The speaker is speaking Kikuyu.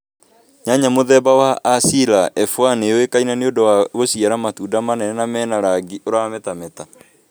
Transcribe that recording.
Nyanya mũthemba wa Asira F1 nĩ yũĩkaine nĩũndu wa gũciara matunda manene na mena rangi ũ rametameta